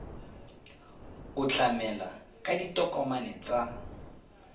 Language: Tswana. o tlamela ka ditokomane tsa